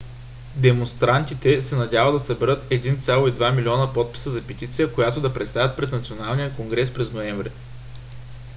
демонстрантите се надяват да съберат 1,2 милиона подписа за петиция която да представят пред националния конгрес през ноември